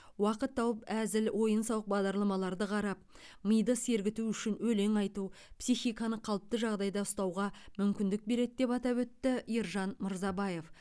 уақыт тауып әзіл ойын сауық бағдарламаларды қарап миды сергіту үшін өлең айту психиканы қалыпты жағдайда ұстауға мүмкіндік береді деп атап өтті ержан мырзабаев